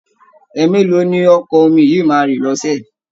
Ẹẹ̀mélòó ni Ọkọ̀ omi yìí máa ń rìn lọ́ṣẹ̀?